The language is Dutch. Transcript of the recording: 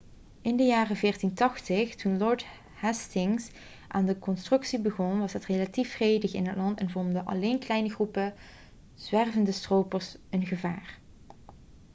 in de jaren 1480 toen lord hastings aan de constructie begon was het relatief vredig in het land en vormden alleen kleine groepen zwervende stropers een gevaar